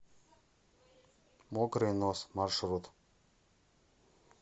мокрый нос маршрут